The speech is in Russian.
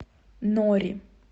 нори